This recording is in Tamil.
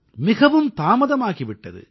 மிகத் தாமதமாகி விட்டது